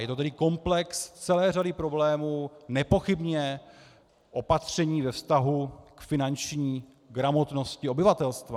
Je to tedy komplex celé řady problémů, nepochybně opatření ve vztahu k finanční gramotnosti obyvatelstva.